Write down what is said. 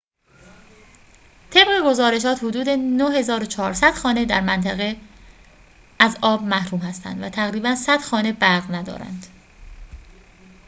طبق گزارشات حدود ۹۴۰۰ خانه در منطقه از آب محروم هستند و تقریباً ۱۰۰ خانه برق ندارند